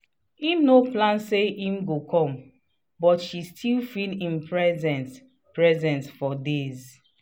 im no plan say him go come but she still feel him presence presence for days.